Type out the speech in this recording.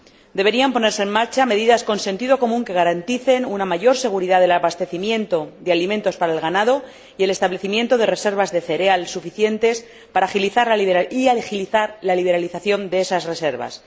Deberían ponerse en marcha medidas con sentido común que garanticen una mayor seguridad del abastecimiento de alimentos para el ganado y el establecimiento de reservas de cereal suficientes y agilizar la liberalización de estas reservas.